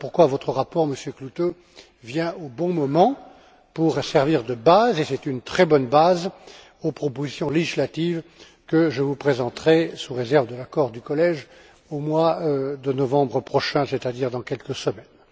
Voilà pourquoi votre rapport, Monsieur Klute, vient au bon moment pour servir de base, de très bonne base aux propositions législatives que je vous présenterai sous réserve de l'accord du collège au mois de novembre prochain, c'est à dire dans quelques semaines.